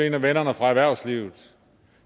en af vennerne fra erhvervslivet